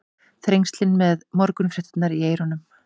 Þrengslin með morgunfréttirnar í eyrunum.